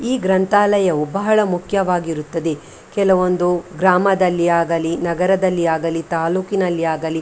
ಈ ಗ್ರಂಥಾಲಯವು ಬಹಳ ಮುಖ್ಯವಾಗಿರುತ್ತದೆ ಕೆಲವೊಂದು ಗ್ರಾಮದಲ್ಲಿ ಆಗಲಿ ನಗರದಲ್ಲಿ ಆಗಲಿ ತಾಲ್ಲೂಕಿನಲ್ಲಿ ಆಗಲಿ .